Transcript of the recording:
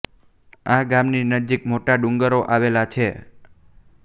આ ગામ ની નજીક મોટો ડુગર આવેલો છે